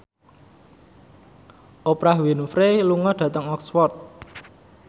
Oprah Winfrey lunga dhateng Oxford